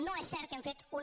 no és cert que hem fet una